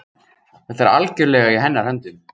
Þetta er algjörlega í hennar höndum.